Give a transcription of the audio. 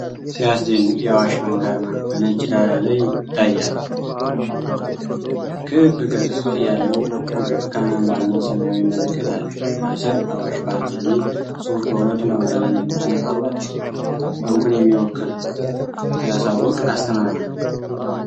ሲያስደንቅ! የዓዋሽ ባንክ አርማ በነጭ ዳራ ላይ ይታያል። ክብ ቅርጽ ያለው ብርቱካናማና ሰማያዊ ምልክት አለ። ከስር 'አዋሽ ባንክ' የሚል ጽሑፍ በሁለቱም በአማረኛና እንግሊዝኛ ፊደላት ተጽፏል። ባንኩን የሚወክል ሲያሳውቅ! አስተማማኝ!